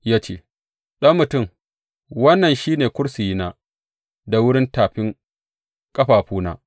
Ya ce, Ɗan mutum, wannan shi ne kursiyina da wurin tafin ƙafafuna.